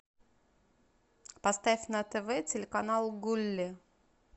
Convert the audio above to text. поставь на тв телеканал гулли